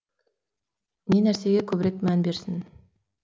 не нәрсеге көбірек мән берсін